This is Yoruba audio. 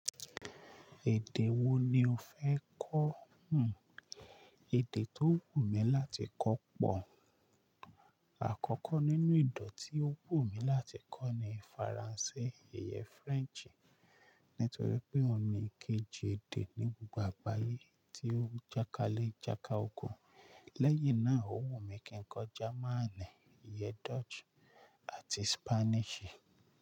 Èdè wo ni o fẹ́ kọ̀? Òun, èdè tó wù mí láti kọ́ pọ̀ àkọ́kọ́ nínú ede tí ó wù mí láti kọ́ ni Faransé, ìyẹn French, nítorí pé òun ni ìkejì èdè ní gbogbo àgbáyé tí ó jákalé jáka okun. Lẹ́yìn náà, ó wù mí kí n kọ́ Jamaní, ìyẹ Dutch àti Spanish.